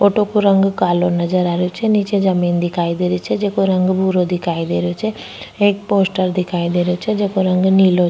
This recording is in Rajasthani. ऑटो को रंग कालो नजर आ रो छे निचे जमीं दिखाई दे रही छे जेको रंग भूरो दिखाई देरो छे एक पोस्टर दिखाई देरो छे जेको रंग नीलो --